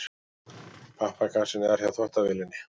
Pappakassinn er hjá þvottavélinni.